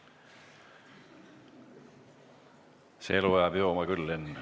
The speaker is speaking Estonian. See elu ajab jooma küll, Henn.